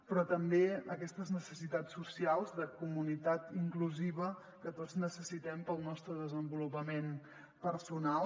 però també aquestes necessitats so·cials de comunitat inclusiva que tots necessitem per al nostre desenvolupament per·sonal